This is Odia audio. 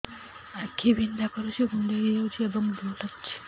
ଆଖି ବିନ୍ଧା କରୁଛି କୁଣ୍ଡେଇ ହେଉଛି ଏବଂ ଲୁହ ଗଳୁଛି